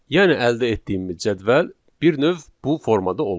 Yəni əldə etdiyimiz cədvəl bir növ bu formada olur.